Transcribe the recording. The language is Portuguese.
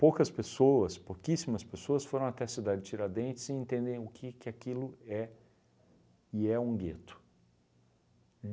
Poucas pessoas, pouquíssimas pessoas foram até cidade de Tiradentes sem entender o que aquilo é. E é um gueto.